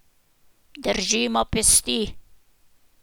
Držimo pesti.